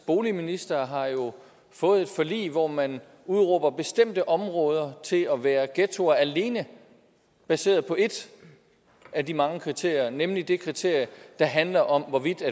boligminister har jo fået et forlig hvor man udråber bestemte områder til at være ghettoer alene baseret på et af de mange kriterier nemlig det kriterie der handler om hvorvidt